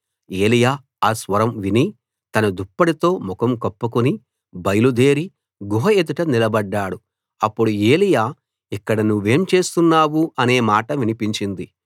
ఏలీయా ఆ స్వరం విని తన దుప్పటితో ముఖం కప్పుకుని బయలుదేరి గుహ ఎదుట నిలబడ్డాడు అప్పుడు ఏలీయా ఇక్కడ నువ్వేం చేస్తున్నావ్ అనే మాట వినిపించింది